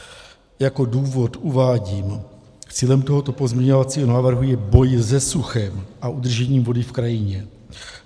Jako důvod uvádím: Cílem tohoto pozměňovacího návrhu je boj se suchem a udržení vody v krajině.